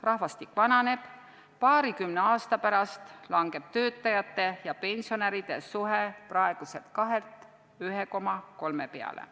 Rahvastik vananeb, paarikümne aasta pärast kahaneb töötajate ja pensionäride suhe praeguselt 2-lt 1,3 peale.